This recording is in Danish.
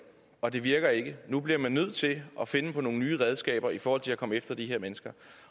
og det virker ikke nu bliver man nødt til at finde på nogle nye redskaber i forhold til at komme efter de her mennesker